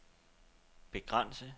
begrænse